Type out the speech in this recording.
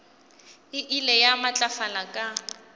e ile ya matlafala ka